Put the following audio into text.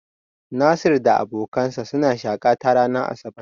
Nasir da abokansa sun shaƙata ranar asabar.